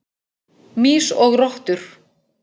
Mýs og rottur.